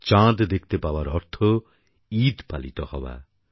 চাঁদ দেখতে পাওয়ার অর্থ হল ঈদ পালিত হওয়া